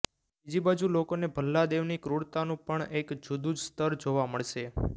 બીજી બાજુ લોકોને ભલ્લાદેવની ક્રૂરતાનુ પણ એક જુદુ જ સ્તર જોવા મળશે